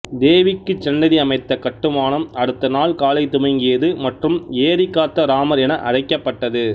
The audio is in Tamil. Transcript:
தேவிக்கு சன்னதி அமைத்த கட்டுமானம் அடுத்த நாள் காலை துவங்கியது மற்றும் ஏரி காத்த ராமர் என அழைக்கப்பட்டது